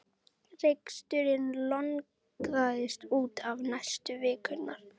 Reksturinn lognaðist út af næstu vikurnar.